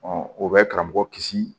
o bɛ karamɔgɔ kisi